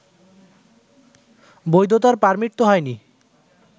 বৈধতার পার্মিট তো হয়নি